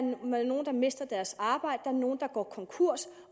nogle der mister deres arbejde nogle der går konkurs